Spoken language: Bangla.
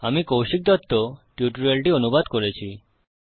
আমি কৌশিক দত্ত টিউটোরিয়ালটি অনুবাদ করেছি